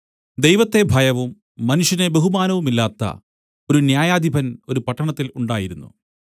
ദൈവത്തെ ഭയവും മനുഷ്യനെ ബഹുമാനവുമില്ലാത്ത ഒരു ന്യായാധിപൻ ഒരു പട്ടണത്തിൽ ഉണ്ടായിരുന്നു